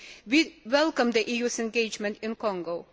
We welcome the EU's engagement in Congo.